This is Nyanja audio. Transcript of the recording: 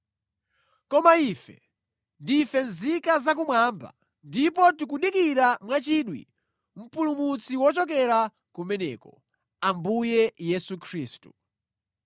Koma ife ndife nzika za kumwamba ndipo tikudikirira mwachidwi Mpulumutsi wochokera kumeneko, Ambuye Yesu Khristu.